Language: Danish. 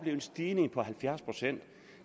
en stigning på halvfjerds procent